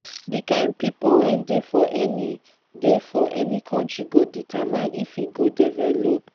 di kind pipo wey dey for any dey for any country go determine if e go develop